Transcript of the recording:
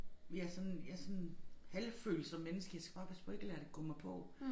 Jeg sådan jeg sådan halvfølsomt menneske jeg skal bare passe på ikke at lade det gå mig på